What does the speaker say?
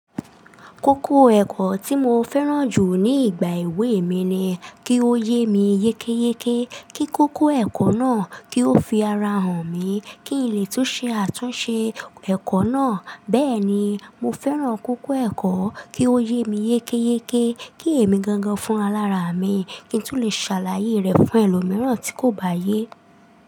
Kókó ẹ̀kọ́ tí mo fẹ́ràn jù ní ìgbà èwe mi ni kí ó yé mi yékéyéké, kí kókó ẹ̀kọ́ náà kí ó fi ara hàn mí, kí n lè tún ṣe àtúnṣe ẹ̀kọ́ náà. Bẹ́ẹ̀ ni, mo fẹ́ràn kókó ẹ̀kọ́ kí ó yé mi yékéyéké, kí èmi gangan fún alára mi, kí n tún lè ṣàlàyé rẹ̀ fún ẹlòmíràn tí kò bá yé.